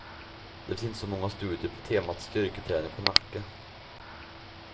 Det finns inte så många studier på temat styrketräning och nacke.